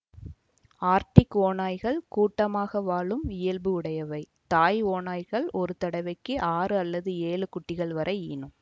Arctic ஓநாய்கள் குடும்பமாக வாழும் இயல்பு உடையவை தாய் ஓநாய்கள் ஒரு தடவைக்கு ஆறு அல்லது ஏழு குட்டிகள் வரை ஈனும்